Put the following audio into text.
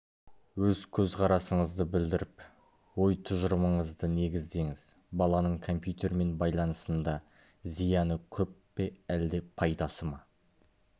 өз көзқарасыңызды білдіріп ой-тұжырымыңызды негіздеңіз баланың компьютермен байланысында зияны көп пе әлде пайдасы ма